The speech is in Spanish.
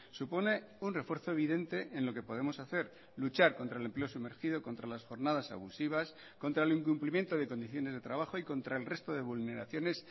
supone un refuerzo evidente en lo que podemos hacer luchar contra el empleo sumergido contra las jornadas abusivas contra el incumplimiento de condiciones de trabajo y contra el resto de vulneraciones